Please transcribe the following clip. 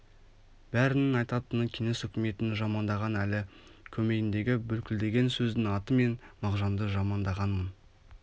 бәрінің айтатыны кеңес үкіметін жамандаған ал көмейіндегі бүлкілдеген сөздің аты мен мағжанды жамандағанмын